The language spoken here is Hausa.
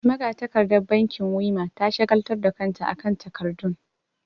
Magatakardar bankin Wema ta shagaltar da kanta akan takardun.